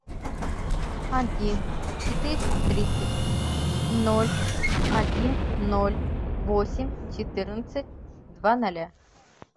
один четыреста тридцать ноль один ноль восемь четырнадцать два ноля